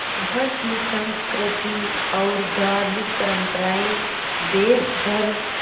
वहाँ की संस्कृति और धार्मिक परम्पराएं देश भर